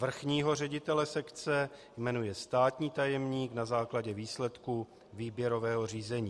Vrchního ředitele sekce jmenuje státní tajemník na základě výsledků výběrového řízení."